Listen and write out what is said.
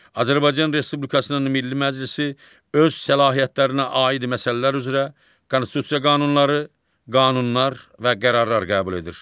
Azərbaycan Respublikasının Milli Məclisi öz səlahiyyətlərinə aid məsələlər üzrə konstitusiya qanunları, qanunlar və qərarlar qəbul edir.